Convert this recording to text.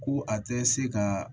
Ko a tɛ se ka